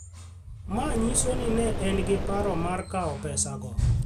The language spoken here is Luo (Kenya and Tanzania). manyiso ni ne en gi paro mar kawo pesa go